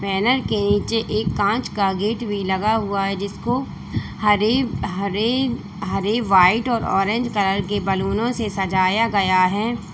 Banner के नीचे एक कांच का गेट भी लगा हुआ है जिसको हरे हरे हरे व्हाइट और ऑरेंज कलर के बलूनों से सजाया गया है।